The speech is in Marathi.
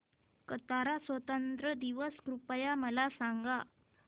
कतार स्वातंत्र्य दिवस कृपया मला सांगा